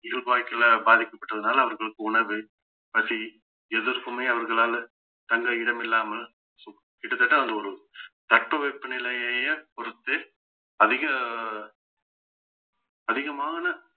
இயல்பு வாழ்க்கையில பாதிக்கப்பட்டதுனால அவர்களுக்கு உணவு பசி எதுர்க்குமே அவர்களால தங்க இடம் இல்லாமல் so கிட்டத்தட்ட அந்த ஒரு தட்பவெப்ப நிலையையே பொறுத்து அதிக அதிகமான